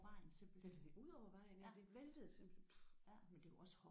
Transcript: Væltede det ud over vejen ja det væltede simpelthen puh